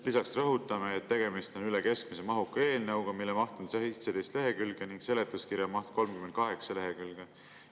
Lisaks rõhutame seda, et tegemist on üle keskmise mahuka eelnõuga, mille maht on 17 lehekülge ning seletuskirja maht 38 lehekülge.